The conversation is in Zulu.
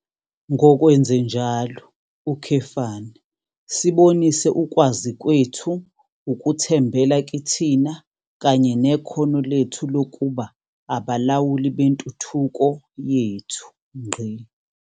Ngokwenzenjalo, sibonise ukwazi kwethu ukuthembela kithina kanye nekhono lethu lokuba abalawuli bentuthuko yethu.